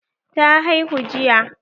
Ta haihu jiya.